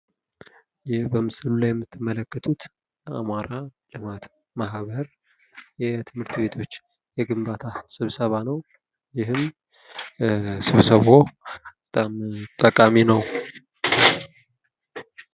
ይህ በምስል ላይ የምትመለከቱት አማራ ልማት ማህበር የትምህርት ቤቶች የግንባታ ስብሰባ ነው ።ይህም ስብሰባው በጣም ጠቃሚ ነው።